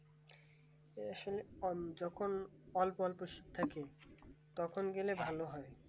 আহ আসলে যখন অল্প অল্প শীত থাকে তখন গেলে ভালো হয়